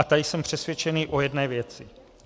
A tady jsem přesvědčený o jedné věci.